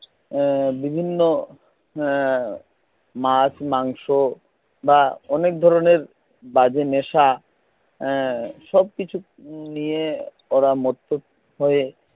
এ বিভিন্ন এ মাছ মাংস বা অনেক ধরনের বাজে নেশা এ সবকিছু নিয়ে ওরা মত্ত হয়ে